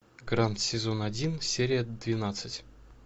гранд сезон один серия двенадцать